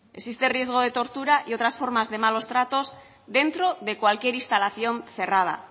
existe riesgo de tortura y otras formas de malos tratos dentro de cualquier instalación cerrada